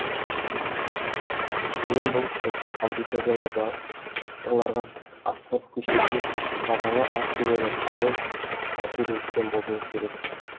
менің бұл кірісім аудиториядағыларға асфальт көшеде тағалы ат келе жатқандай әсер еткен болуы керек